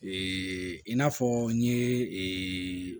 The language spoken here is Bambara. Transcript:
Ee i n'a fɔ n ye